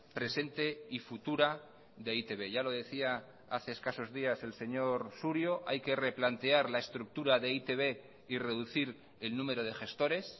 presente y futura de e i te be ya lo decía hace escasos días el señor surio hay que replantear la estructura de e i te be y reducir el número de gestores